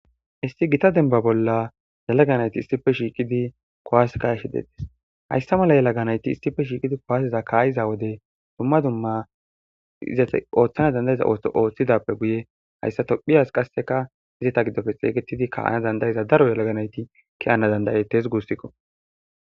issi gita denba bolla yalaga nayti issipe shiiqidi kowaseka ka'ishe dettes hayssa mala yalaganayti issipe shiiqidi kowaaseza kaayiza wode dumma dumma izate ooththana dandayiza toooththidappe guye hayssa tophiyas qasseka izi ta giddofe xeeygetidi ka7ana dandayiza daro yalaganayti kiyana dandayetes gussikko